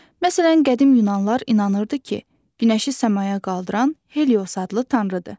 Məsələn, qədim yunanlar inanırdı ki, günəşi səmaya qaldıran Helios adlı tanrıdır.